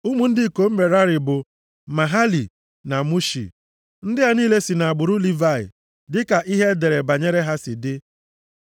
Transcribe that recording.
Ụmụ ndị ikom Merari bụ Mahali na Mushi. Ndị a niile si nʼagbụrụ Livayị, dịka ihe e dere banyere ha si dị.